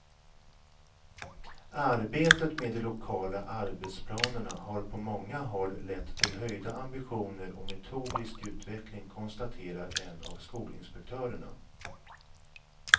Arbetet med de lokala arbetsplanerna har på många håll lett till höjda ambitioner och metodisk utveckling, konstaterar en av skolinspektörerna.